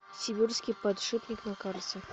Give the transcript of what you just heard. сибирский подшипник на карте